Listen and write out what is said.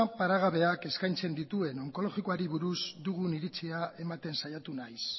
paregabeak eskaintzen dituen onkologikoari buruz iritsia ematen saiatu naiz